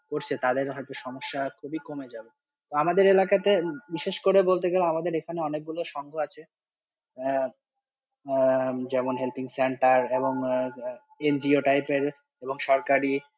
তো তাদের হয়তো সমস্যা খুবই কমে যাবে, তো আমাদের এলাকাতে বিশেষ করে বলতে গেলে অনেক গুলো সংঘ আছে আহ আঃ যেমন helping center আঃ NGO type এর এবং সরকারি।